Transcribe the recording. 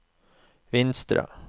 Vinstra